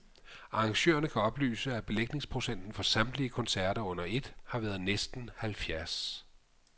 Arrangørerne kan oplyse, at belægningsprocenten for samtlige koncerter under et, har været næsten halvfjerds.